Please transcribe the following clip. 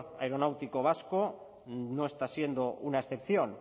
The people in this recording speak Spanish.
aeronáutico vasco no está siendo una excepción